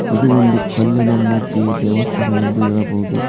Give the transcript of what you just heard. ಇದು ಒಂದು ಕಲ್ಲಿನ ಮೂರ್ತಿಯ ದೇವಸ್ಥಾನ ಎಂದು ಹೇಳಬಹುದು.